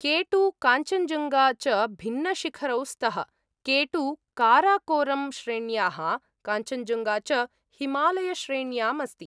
K2, Kanchenjunga च भिन्नशिखरौ स्तः, के२ काराकोरम् श्रेण्याः, काञ्चञ्जुङ्गा च हिमालयश्रेण्याम् अस्ति।